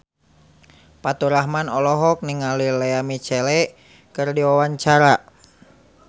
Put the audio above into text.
Faturrahman olohok ningali Lea Michele keur diwawancara